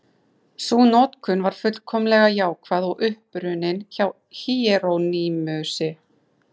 Sú notkun var fullkomlega jákvæð og upprunnin hjá Híerónýmusi.